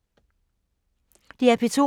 DR P2